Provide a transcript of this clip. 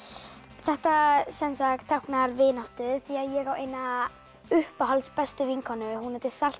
þetta er táknar vináttu því ég á eina uppáhalds bestu vinkonu hún heitir Salka